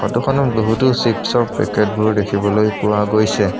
ফটোখনত বহুতো চিপচৰ পেকেটবোৰ দেখিবলৈ পোৱা গৈছে।